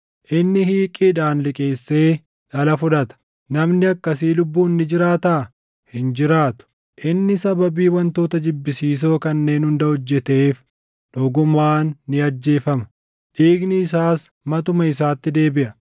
Inni hiiqiidhaan liqeessee dhala fudhata. Namni akkasii lubbuun ni jiraataa? Hin jiraatu! Inni sababii wantoota jibbisiisoo kanneen hunda hojjeteef dhugumaan ni ajjeefama; dhiigni isaas matuma isaatti deebiʼa.